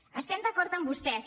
estem d’acord amb vostès